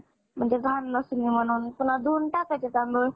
म्हणजे घाण दिसु नये म्हणुन पुन्हा धुणं टाकायचं तांदूळ